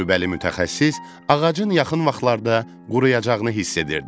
Təcrübəli mütəxəssis ağacın yaxın vaxtlarda quruyacağını hiss edirdi.